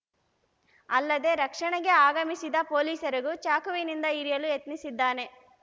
ಅಲ್ಲದೆ ರಕ್ಷಣೆಗೆ ಆಗಮಿಸಿದ ಪೊಲೀಸರಿಗೂ ಚಾಕುವಿನಿಂದ ಇರಿಯಲು ಯತ್ನಿಸಿದ್ದಾನೆ